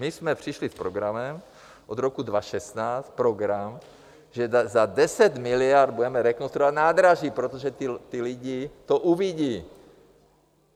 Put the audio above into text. My jsme přišli s programem od roku 2016, program, že za 10 miliard budeme rekonstruovat nádraží, protože ti lidi to uvidí.